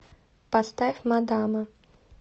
поставь мадама